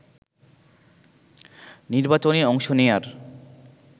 নির্বাচনে অংশ নেয়ার